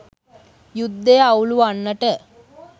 යුද්ධය අවුළුවන්නට